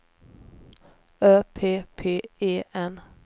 Ö P P E N